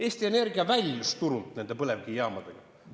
Eesti Energia väljus nende põlevkivijaamadega turult.